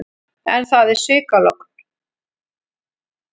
En það er svikalogn.